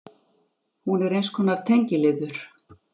Hún er eins konar tengiliður.